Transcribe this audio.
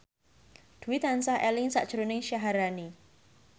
Dwi tansah eling sakjroning Syaharani